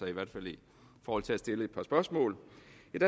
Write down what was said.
i hvert fald i forhold til at stille et par spørgsmål